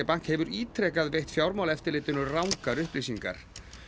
Bank hefur ítrekað veitt Fjármálaeftirlitinu rangar upplýsingar